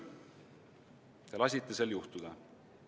Te lasite sel juhtuda.